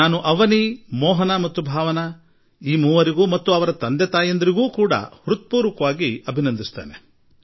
ನಾನು ಅವನೀ ಮೋಹನಾ ಭಾವನಾ ಈ ಮೂವರೂ ಪುತ್ರಿಯರಿಗೆ ಹಾಗೂ ಅವರ ಪಾಲಕರಿಗೆ ಹೃತ್ಪೂರ್ವಕ ಶುಭಾಶಯವನ್ನು ತಿಳಿಸುತ್ತೇನೆ